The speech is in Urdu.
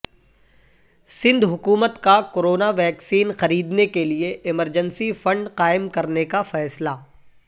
سندھ حکومت کا کورونا ویکسین خریدنے کیلئے ایمرجنسی فنڈ قائم کرنے کا فیصلہ